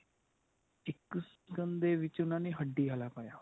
ਇੱਕ ਸੀਂਖ ਦੇ ਵਿੱਚ ਉਨ੍ਹਾਂ ਨੇ ਹੱਡੀ ਆਲਾ ਪਾਇਆ ਹੋਇਆ